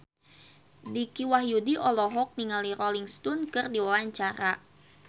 Dicky Wahyudi olohok ningali Rolling Stone keur diwawancara